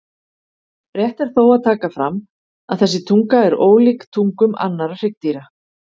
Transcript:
Rétt er þó að taka fram að þessi tunga er ólíkt tungum annarra hryggdýra.